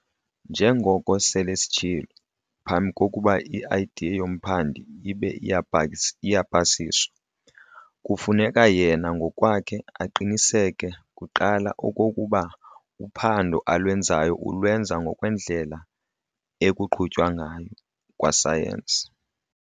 Njengoko sele sitshilo, phambi kokuba i-idea yomphandi ibe iyapasiswa, kufuneka yena ngokwakhe aqiniseke kuqala okokuba uphando alwenzayo ulwenza ngokwendlela ekuqhutywa ngayo "kwa-science".